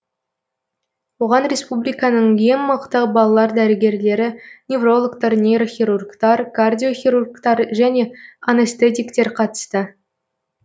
оған республиканың ең мықты балалар дәрігерлері неврологтар нейрохирургтар кардиохирургтар және анестетиктер қатысты